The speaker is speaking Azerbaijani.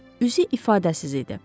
Üzü ifadəsiz idi.